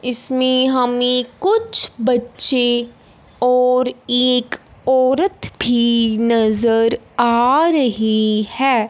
इसमें हमे कुछ बच्चे और एक औरत भी नज़र आ रही है।